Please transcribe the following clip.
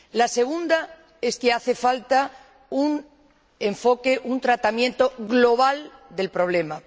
La segunda es que hace falta un enfoque o tratamiento global del problema.